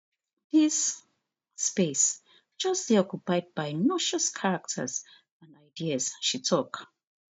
dis space just dey occupied by noxious characters and ideas she tok